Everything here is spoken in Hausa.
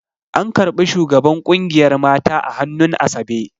An ƙarɓi shugaban ƙungiyar mata a hannun asabe